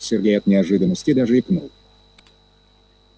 сергей от неожиданности даже икнул